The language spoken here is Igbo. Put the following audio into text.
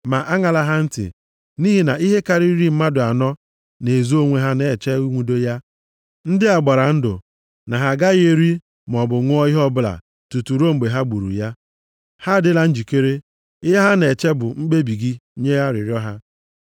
Ma aṅala ha ntị. Nʼihi na ihe karịrị iri mmadụ anọ na-ezo onwe ha na-eche inwude ya. Ndị a gbara ndụ na ha agaghị eri maọbụ ṅụọ ihe ọbụla tutu ruo mgbe ha gburu ya. Ha adịla njikere, ihe a na-eche bụ mkpebi gị nye arịrịọ ha.”